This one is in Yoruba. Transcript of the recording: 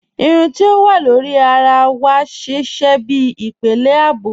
Irùn ti o wà lórí àrà wà sísẹ̀ bí ìpélé ààbò